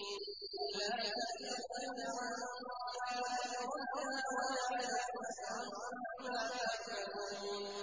قُل لَّا تُسْأَلُونَ عَمَّا أَجْرَمْنَا وَلَا نُسْأَلُ عَمَّا تَعْمَلُونَ